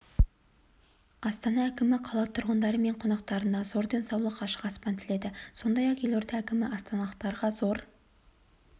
астана әкімі қала тұрғындары мен қонақтарына зор денсаулық ашық аспан тіледі сондай-ақ елорда әкімі астаналықтарға зор